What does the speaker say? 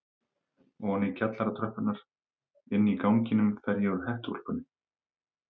Oní kjallaratröppurnar, Inní ganginum fer ég úr hettuúlpunni.